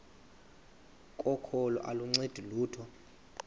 kokholo aluncedi lutho